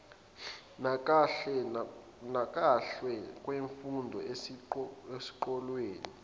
nakahle kwemfundo eseqophelweni